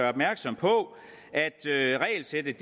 opmærksom på at regelsættet